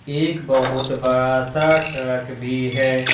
एक बहुत बड़ा सा ट्रक भी है।